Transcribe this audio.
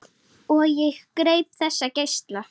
Og ég greip þessa geisla.